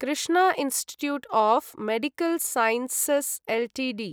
Krishna institute of medical sciences Ltd